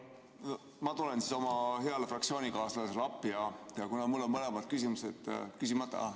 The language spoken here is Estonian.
No ma tulen siis oma heale fraktsioonikaaslasele appi, kuna mul on mõlemad küsimused küsimata.